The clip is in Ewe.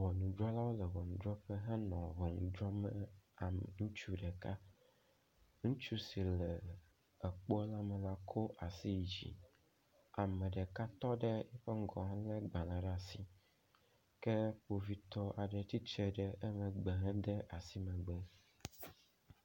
Ŋɔnudrɔlawo le ŋɔnudrɔƒe hele ŋɔnu drɔm ŋutsu ɖeka. Ŋutsu si le ekpɔa nu la kɔ asi yi dzi. Ame ɖeka tɔ ɖe kpɔa ŋgɔ lé agbalẽ ɖe asi. Kpovitɔ aɖe tsitre ɖe emegbe de asi megbe.